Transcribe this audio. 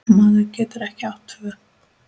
Maður getur ekki átt tvö